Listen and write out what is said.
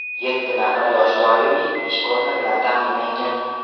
Yetti nafar yosh doimiy ish o‘rni bilan ta’minlangan.